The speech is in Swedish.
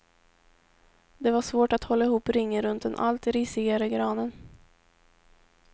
Det var svårt att hålla ihop ringen runt den allt risigare granen.